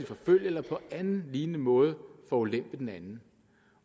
forfølge eller på anden lignende måde forulempe den anden